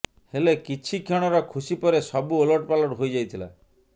ହେଲେ କିଛି କ୍ଷଣର ଖୁସି ପରେ ସବୁ ଓଲଟପାଲଟ ହୋଇ ଯାଇଥିଲା